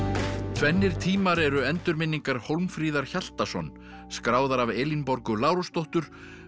tvennir tímar eru endurminningar Hólmfríðar Hjaltason skráðar af Elínborgu Lárusdóttur